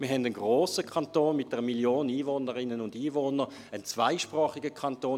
Wir haben einen grossen Kanton mit einer Million Einwohnerinnen und Einwohner, und einen zweisprachigen Kanton.